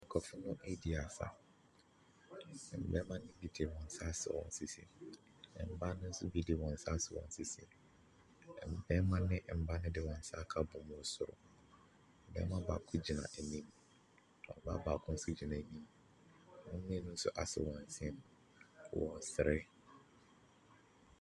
Nkurɔfoɔ no redi asa. Mmarima no bi de wɔn nsa asɔ wɔn sisi. Mmaa no bi nso de wɔn asɔ wɔn sisi. Mmarima ne mmaa no de wɔn nsa aka abom wɔ soro. Barima baako gyina anim, ɔbaa baako nso gyina anim. Wɔn mmienu nso asɔ wɔ nsam. Wɔresere.